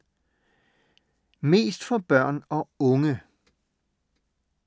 Mest for børn og unge